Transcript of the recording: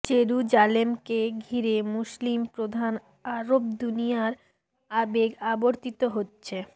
জেরুজালেমকে ঘিরে মুসলিম প্রধান আরব দুনিয়ার আবেগ আবর্তিত হচ্ছে